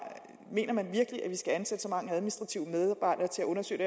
mener man virkelig at vi skal ansætte så mange administrative medarbejdere til at undersøge